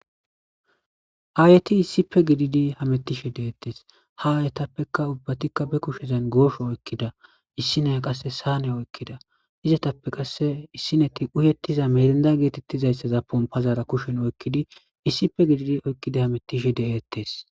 aayeti issipe gididi hamettishe deettes ha ayetappeka ubbatikka be kushezan goosho oykkida issi neya qasse saane oykkida izetappe qasse issineti uyettiza merinda geetettizayssaza ponpazaara kushen oykkidi issipe gididi oykkidi hametishe de'eettes